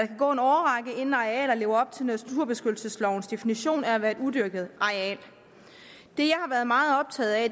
kan gå en årrække inden et areal lever op til naturbeskyttelseslovens definition af at være et udyrket areal det jeg har været meget optaget af